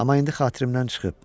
Amma indi xatirimdən çıxıb.